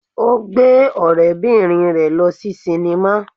Ó gbé ọ̀rẹ́-bìnrin rẹ̀ lọ sí sínímà